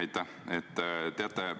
Aitäh!